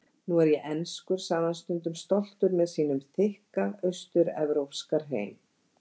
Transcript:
Nú er ég enskur, sagði hann stundum stoltur með sínum þykka austur-evrópska hreim.